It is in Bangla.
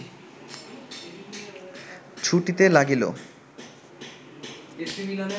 ছুটিতে লাগিল